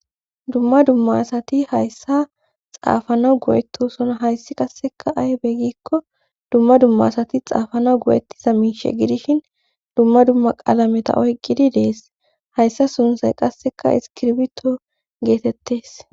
dumma dumma asati hayssa xaafanawu go'etosona hayssi qasseka aybe gikko dumma dummasati xaafana goyettiza miishe gidishin dumma dumma qaalameta oyqqidi dees hayssa sunsay qasseka iskirbito geetettes